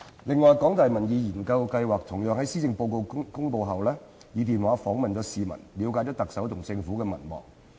此外，香港大學民意研究計劃同樣於施政報告公布後，以電話訪問市民，以了解特首及政府的民望。